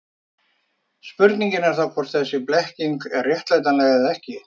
Spurningin er þá hvort þessi blekking er réttlætanleg eða ekki.